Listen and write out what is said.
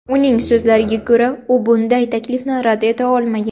Uning so‘zlariga ko‘ra, u bunday taklifni rad eta olmagan.